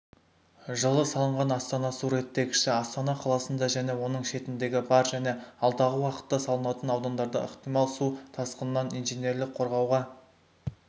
жылы салынған астана су реттегіші астана қаласында және оның шетіндегі бар және алдағы уақытта салынатын аудандарды ықтимал су тасқынынан инженерлік қорғауға